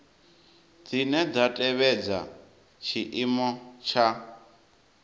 dzine dza tevhedza tshiimo tsha